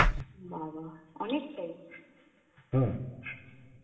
বাবাঃ! অনেকটাই.